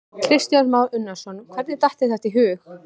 Kristján Már Unnarsson: Hvernig datt þér þetta í hug?